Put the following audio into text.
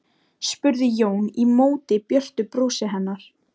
spurði Jón í móti björtu brosi hennar.